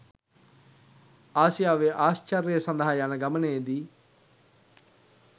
ආසියාවේ ආශ්චර්ය සඳහා යන ගමනේදී